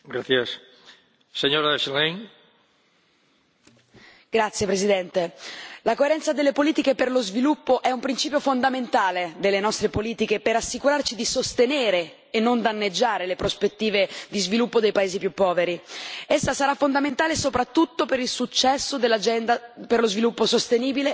Signor Presidente, onorevoli colleghi, la coerenza delle politiche per lo sviluppo è un principio fondamentale delle nostre politiche per assicurarci di sostenere e non danneggiare le prospettive di sviluppo dei paesi più poveri. Essa sarà fondamentale soprattutto per il successo dell'agenda per lo sviluppo sostenibile e per determinarne i progressi.